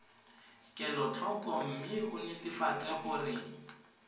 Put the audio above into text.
kelotlhoko mme o netefatse gore